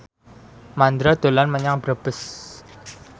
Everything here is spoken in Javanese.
Mandra dolan menyang Brebes